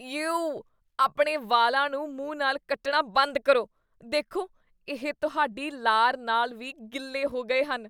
ਯੇਉ! ਆਪਣੇ ਵਾਲਾਂ ਨੂੰ ਮੂੰਹ ਨਾਲ ਕੱਟਣਾ ਬੰਦ ਕਰੋ। ਦੇਖੋ, ਇਹ ਤੁਹਾਡੀ ਲਾਰ ਨਾਲ ਵੀ ਗਿੱਲੇ ਹੋ ਗਏ ਹਨ ।